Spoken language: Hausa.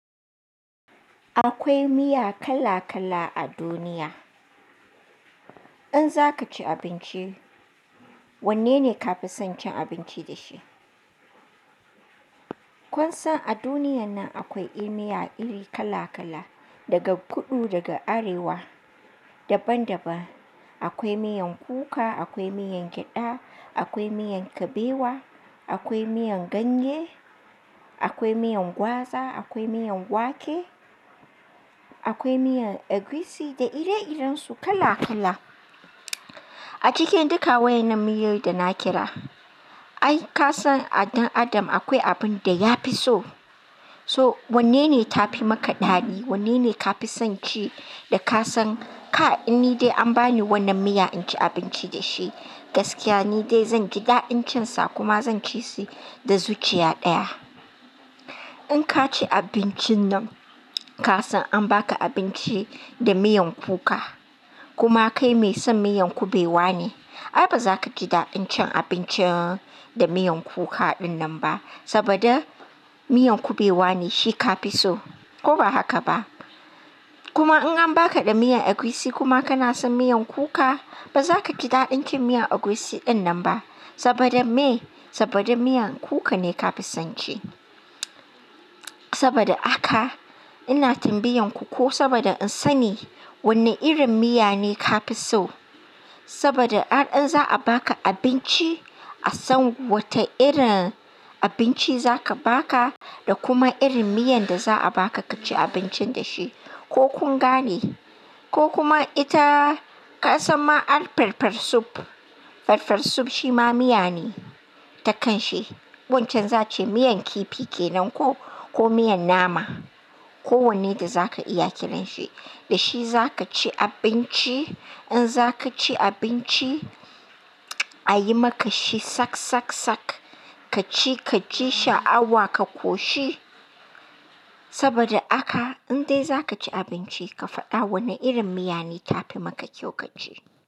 Akwai miya kala kala a duniya. In zaka ci abinci, wanne ne kafi son cin abinci da shi? Kun san a duniyan nan akwai irin miya iri kala kala, daga kudu, daga arewa, daban daban. Akwai miyan kuka, akwai miyan gyada, akwai miyan kabewa, akwai miyan ganye, akwai miyan gwaza, akwai miyan wake, akwai miyan egusi da ire iren su kala kala. A cikin duka wa'inan miyoyi da na kira, ai ka san a dan adam akwai abin da ya fi so. So wanne ne tafi maka daɗi? Wanne ne kafi son ci da ka san, kai! In dai an bani wannan miya in ci abinci da shi, gaskiya ni dai zanji daɗin cin sa kuma zan ci shi da zuciya ɗaya. In ka ci abincin nan, ka san an baka abinci da miyan kuka, kuma kai mai son miyan kubewa ne, ai baza ka ji daɗin cin abinci da miyan kuka dinnan ba. Saboda miyan kubewa ne shi ka fi so, ko ba haka ba? Kuma in an baka da miyan egusi kuma kana son miyan kuka, baza ka ji daɗin cin miyan egusi dinnan ba. Saboda me? Saboda miyan kuka ne kafi son ci. Saboda haka ina tambayan ku ko saboda in sani wanne irin miya ne kafi so. Saboda har in za'a baka abinci, a san wata irin abinci za ka baka da kuma irin miyan da za'a baka ka ci abincin da shi. Ko kun gane? Ko kuma ita ka san ma ai farfesu? Farfesu shi ma miya ne ta kanshi. Wancan za'ace miyan kifi kenan ko, ko miyan nama, ko wanne da zaka iya kiranshi. Da shi zaka ci abinci. In zaka ci abinci, a yi maka shi sak sak sak, ka ci ka ji sha'awa, ka koshi. Saboda haka in dai zaka ci abinci, ka faɗa wanne irin miya ne tafi maka kyau ka ci.